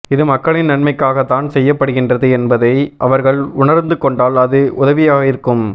இது மக்களின் நன்மைக்காகத்தான் செய்யப் படுகின்றது என்பதை அவர்கள் உணர்ந்து கொண்டால் அது உதவியாகவிருக்கும்